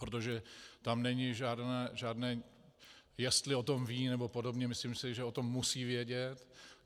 Protože tam není žádné, jestli o tom ví nebo podobně, myslím si, že o tom musí vědět.